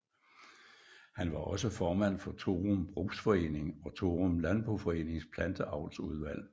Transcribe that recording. Han var også formand for Thorum Brugsforening og Thorum Landboforenings Planteavlsudvalg